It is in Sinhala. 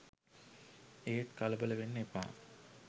ඒත් කලබල වෙන්න එපා